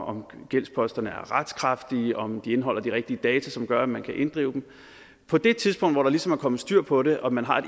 om gældsposterne er retskraftige og om de indeholder de rigtige data som gør at man kan inddrive dem på det tidspunkt hvor der ligesom er kommet styr på det og man har